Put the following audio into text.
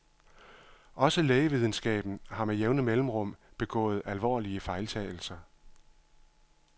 Også lægevidenskaben har med jævne mellemrum begået alvorlige fejltagelser.